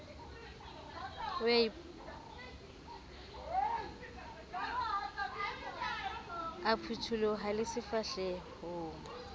o a phuthuloha le sefahlehong